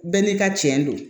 Bɛɛ n'i ka cɛn don